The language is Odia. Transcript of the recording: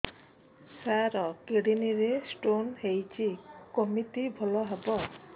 ସାର କିଡ଼ନୀ ରେ ସ୍ଟୋନ୍ ହେଇଛି କମିତି ଭଲ ହେବ